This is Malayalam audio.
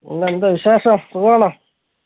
പിന്നെ എന്ത് വിശേഷം സുഖണോ